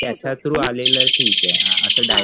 त्याच्या through आलेलं ठीके